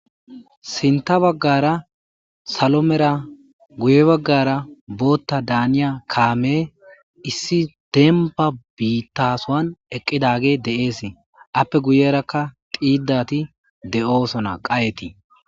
Sinta bagara salo mela guye bagara boota daniya kaameyi issi demba bitasowani eaidageyi Desi , ape guyeraka xodati de'osona qaheti.